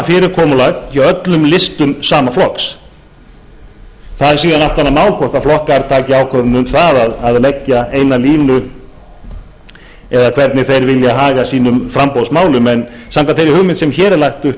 fyrirkomulag á öllum listum sínum það er svo allt annað mál hvort flokkar taki ákvörðun um að leggja eina línu eða hvernig þeir vilja haga framboðsmálum sínum en samkvæmt þeirri hugmynd sem hér er lagt upp